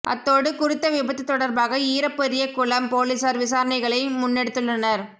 அத்தோடு குறித்த விபத்து தொடர்பாக ஈரப்பெரியகுளம் பொலிஸார் விசாரணைகளை முன்னெடுத்துள்ளனர்